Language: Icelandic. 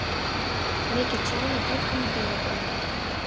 Mikið tjón á gluggum og dyrabúnaði.